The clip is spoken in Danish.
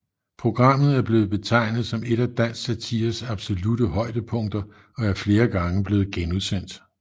Programmet er blevet betegnet som et af dansk satires absolutte højdepunkter og er flere gange blevet genudsendt